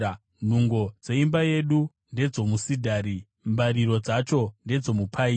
Nhungo dzeimba yedu ndedzomusidhari; mbariro dzacho ndedzomupaini.